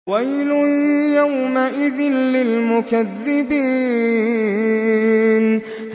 وَيْلٌ يَوْمَئِذٍ لِّلْمُكَذِّبِينَ